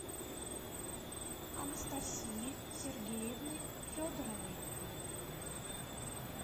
анастасии сергеевны федоровой